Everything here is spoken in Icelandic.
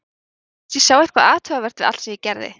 Mér fannst ég sjá eitthvað athugavert við allt sem ég gerði.